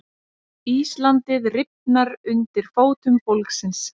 Íslandið rifnar undir fótum fólksins